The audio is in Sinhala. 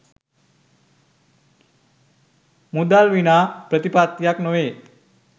මුදල් විනා ප්‍රතිපත්තියක් නොවේ.